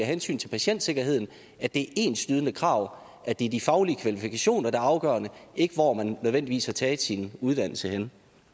hensyn til patientsikkerheden at det enslydende krav at det er de faglige kvalifikationer der er afgørende og ikke hvor man nødvendigvis har taget sin uddannelse